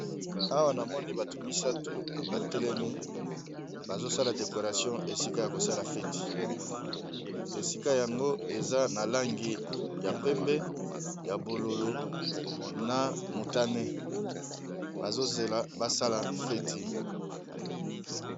awa na moni bato misato batelemi bazosala decoration esika ya kosala feti esika yango eza na langi ya pembe ya bololo na mutane bazozela basala feti